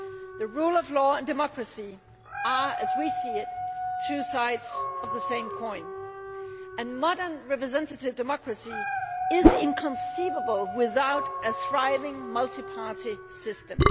The rule of law and democracy are, as we see it, two sides of the same coin, and modern representative democracy is inconceivable without a thriving multi party system.